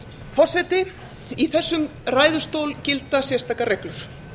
forseti í þessum ræðustól gilda sérstakar reglur